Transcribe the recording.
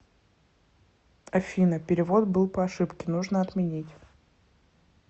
афина перевод был по ошибке нужно отменить